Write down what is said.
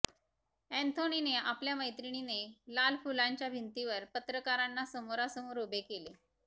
ऍन्थोनीने आपल्या मैत्रिणीने लाल फुल्यांच्या भिंतीवर पत्रकारांना समोरासमोर उभे केले